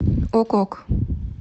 ок ок